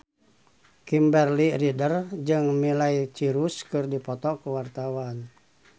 Kimberly Ryder jeung Miley Cyrus keur dipoto ku wartawan